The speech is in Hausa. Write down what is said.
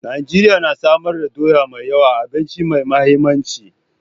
Najeriya na samar da doya mai yawa, abinci mai mahimmanci.